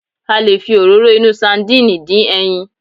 A lè fi Òróró inú sandínì dín ẹyin